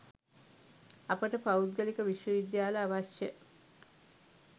අපට පෞද්ගලික විශ්ව විද්‍යාල අවශ්‍ය?